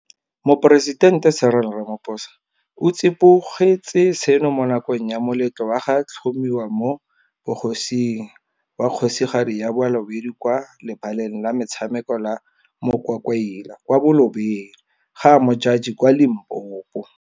Moporesitente Cyril Ramaphosa o tsibogetse seno mo nakong ya moletlo wa go tlhomiwa mo bogosing wa Kgosigadi ya Balobedu kwa lebaleng la metshameko la Mokwakwaila kwa Bolobedu, GaModjadji kwa Limpopo.